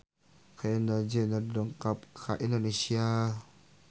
Kendall Jenner dongkap ka Indonesia